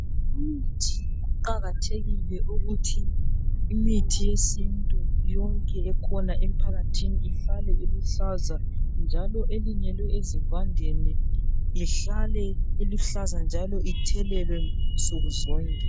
Umuthi kuqakathekile ukuthi imithi yesintu yonke ekhona emphakathini ihlale iluhlaza njalo elinyelwe ezivandeni ihlale iluhlaza njalo ithelelwe nsuku zonke.